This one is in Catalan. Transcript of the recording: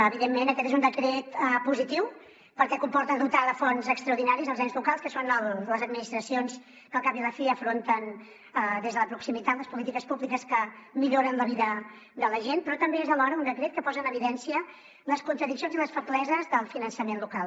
evidentment aquest és un decret positiu perquè comporta dotar de fons extraordinaris els ens locals que són les administracions que al cap i a la fi afronten des de la proximitat les polítiques públiques que milloren la vida de la gent però també és alhora un decret que posa en evidència les contradiccions i les febleses del finançament local